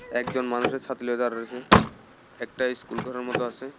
একজন মানুষে ছাতি লইয়া দাঁড়ায় রইসে একটা স্কুল ঘরের মতো আসে।